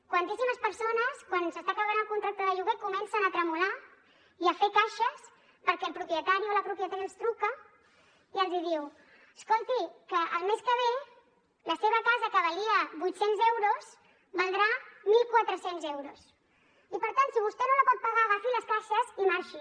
quantíssimes persones quan s’està acabant el contracte de lloguer comencen a tremolar i a fer caixes perquè el propietari o la propietària els truca i els diu escolti que el mes que ve la seva casa que valia vuit cents euros valdrà mil quatre cents euros i per tant si vostè no la pot pagar agafi les caixes i marxi